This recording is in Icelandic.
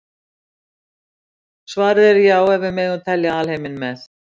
Svarið er já ef við megum telja alheiminn með.